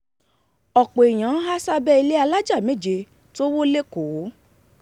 ọ̀pọ̀ èèyàn há sábẹ́ ilé alájà méje tó wó lẹ́kọ̀ọ́